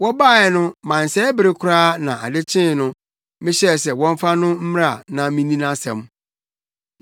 Wɔbae no mansɛe bere koraa na ade kyee no, mehyɛɛ sɛ wɔmfa no mmra na minni nʼasɛm.